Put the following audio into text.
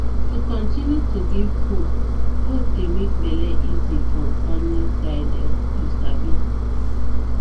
to continue to give hope hope dey make bele easy from family side[um]you sabi